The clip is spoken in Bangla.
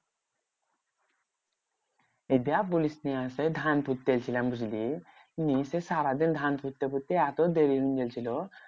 সেটা আর বলিসনা সেই ধান পুঁততে গেছিলাম বুঝলি? নিয়ে তো সারাদিন ধান পুঁততে পুঁততে এত দেরি হয়েগেছিলো